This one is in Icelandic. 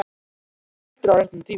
Þú ert aldrei á réttum tíma.